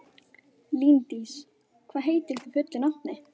Líndís, hvað heitir þú fullu nafni?